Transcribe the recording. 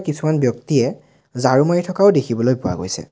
কিছুমান ব্যক্তিয়ে ঝাড়ু মাৰি থকাও দেখিবলৈ পোৱা গৈছে।